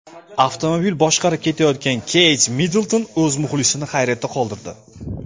Avtomobil boshqarib ketayotgan Keyt Middlton o‘z muxlisini hayratda qoldirdi .